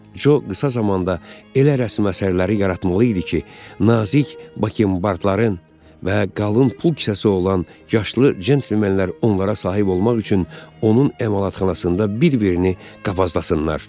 Co qısa zamanda elə rəsm əsərləri yaratmalı idi ki, nazik bakembardların və qalın pul kisəsi olan yaşlı centlmenlər onlara sahib olmaq üçün onun emalatxanasında bir-birini qovazlasınlar.